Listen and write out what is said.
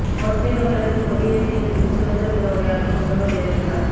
கோட்டை கொத்தளத்தில் கொடி ஏற்றிய பின்பு சுதந்திர தின உரையாற்றும் முதல்வர் ஜெயலலிதா